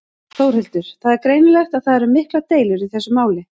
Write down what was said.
Þórhildur: Það er greinilegt að það eru miklar deilur í þessu máli?